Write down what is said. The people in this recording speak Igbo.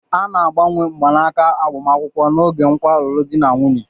A na-agbanwe mgbanaka agbamakwụkwọ n'oge nkwa alụmdi na nwunye